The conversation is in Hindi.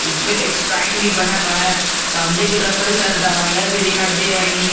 उसे पे एक साइन भी बना हुआ है सामने की तरफ कई सारी दवाईयां भी दिखाई दे रही है।